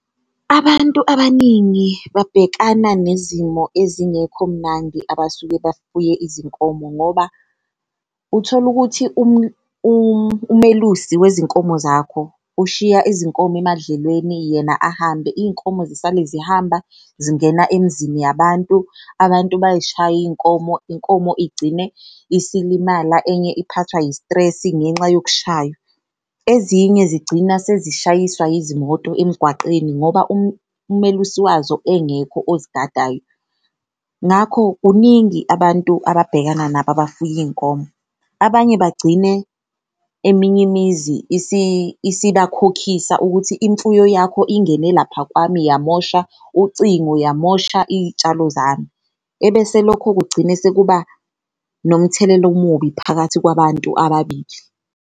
Abantu abaningi babhekana nezimo ezingekho mnandi abasuke bafuye izinkomo ngoba uthola ukuthi umelusi wezinkomo zakho ushiya izinkomo emadlelweni yena ahambe. Iy'nkomo zisale zihamba zingena emizini yabantu, abantu bayishaye iy'nkomo, inkomo igcine isilimala enye iphathwa i-stress-i ngenxa yokushaywa ezinye zigcina sezishayiswa izimoto emgwaqeni ngoba umelusi wazo engekho ozigadayo. Ngakho kuningi abantu ababhekana nabo abafuye iy'nkomo, abanye bagcine eminye imizi isibakhokhisa ukuthi imfuyo yakho ingene lapha kwami yamosha ucingo, yamosha iy'tshalo zami ebese lokho kugcine sekuba nomthelela omubi phakathi kwabantu ababili.